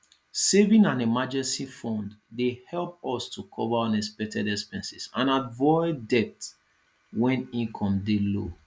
saving an emergency fund dey help us to cover unexpected expenses and avoid debt when income dey low